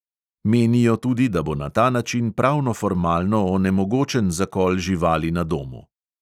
Menijo tudi, da bo na ta način pravno formalno onemogočen zakol živali na domu.